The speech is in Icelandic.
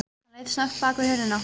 Hann leit snöggt bak við hurðina.